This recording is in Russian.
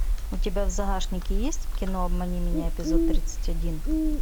у тебя в загашнике есть кино обмани меня эпизод тридцать один